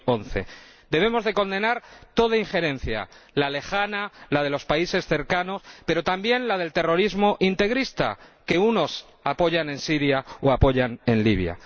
2011. Debemos condenar toda injerencia la lejana, la de los países cercanos, pero también la del terrorismo integrista, que algunos apoyan en Siria o en Libia.